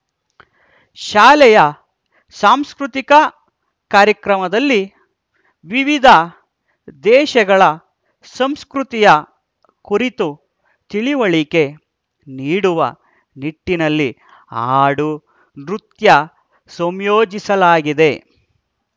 ಶಾಲೆಯ ಸಾಂಸ್ಕೃತಿಕ ಕಾರ್ಯಕ್ರಮಲ್ಲಿ ವಿವಿಧ ದೇಶಗಳ ಸಂಸ್ಕೃತಿಯ ಕುರಿತು ತಿಳಿವಳಿಕೆ ನೀಡುವ ನಿಟ್ಟಿನಲ್ಲಿ ಹಾಡು ನೃತ್ಯ ಸಂಯೋಜಿಸಲಾಗಿದೆ